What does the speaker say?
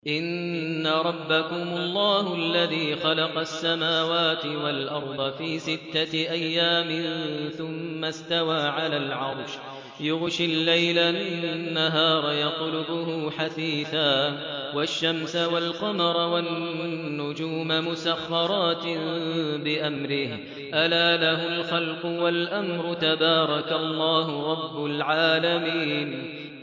إِنَّ رَبَّكُمُ اللَّهُ الَّذِي خَلَقَ السَّمَاوَاتِ وَالْأَرْضَ فِي سِتَّةِ أَيَّامٍ ثُمَّ اسْتَوَىٰ عَلَى الْعَرْشِ يُغْشِي اللَّيْلَ النَّهَارَ يَطْلُبُهُ حَثِيثًا وَالشَّمْسَ وَالْقَمَرَ وَالنُّجُومَ مُسَخَّرَاتٍ بِأَمْرِهِ ۗ أَلَا لَهُ الْخَلْقُ وَالْأَمْرُ ۗ تَبَارَكَ اللَّهُ رَبُّ الْعَالَمِينَ